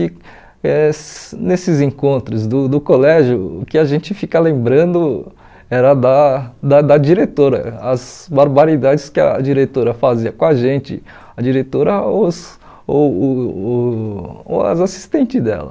que, eh nesses encontros do do colégio, o que a gente fica lembrando era da da da diretora, as barbaridades que a diretora fazia com a gente, a diretora ou os ou uh uh ou as assistentes dela.